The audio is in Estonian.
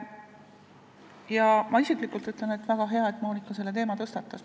Ma ütlen isiklikult enda nimel, et väga hea, et Monika selle teema tõstatas.